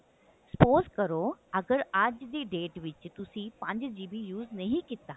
suppose ਕਰੋ ਅਗਰ ਅੱਜ ਦੀ date ਵਿੱਚ ਤੁਸੀਂ ਪੰਜ GB use ਨਹੀ ਕੀਤਾ